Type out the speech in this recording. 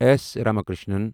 S Ramakrishnan